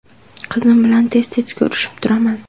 Qizim bilan tez-tez ko‘rishib turaman.